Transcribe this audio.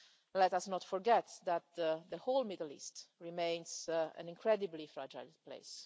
Let us not forget that the whole Middle East remains an incredibly fragile place.